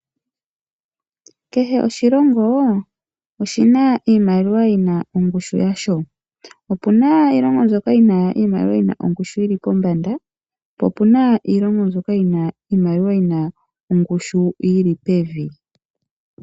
Kehe oshilongo oshi na iimaliwa yi na ongushu yasho. Opu na iilongo mbyoka yi na iimaliwa yi na ongushu yi li pombanda, po opu na iilongo mbyoka yi na iimaliwa yi na ongushu yi li pevi.